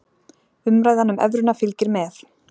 Umræðan um evruna fylgir með.